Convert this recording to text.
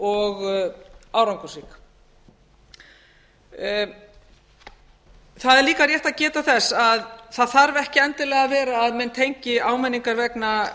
og árangursrík það er líka rétt að geta þess að það þarf ekki endilega að vera að menn tengi áminningar